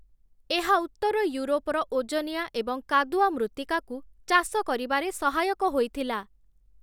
ଏହା ଉତ୍ତର ଇଉରୋପର ଓଜନିଆ ଏବଂ କାଦୁଆ ମୃତ୍ତିକାକୁ ଚାଷ କରିବାରେ ସହାୟକ ହୋଇଥିଲା ।